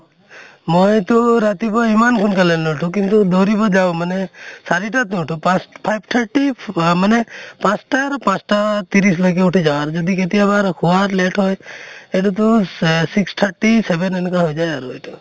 মইতো ৰাতিপুৱা ইমান সোনকালে নুঠো কিন্তু দৌৰিব যাওঁ মানে চাৰিটাৰ নুঠো পাঁছ five thirty অহ মানে পাঁছ্টা আৰু পাঁছ্টা ত্ৰিছ্লৈকে উঠি যাওঁ আৰু যদি কেতিয়াবা শুৱাত late হয় সেইটোতো এহ six thirty seven এনেকা হৈ যায় আৰু।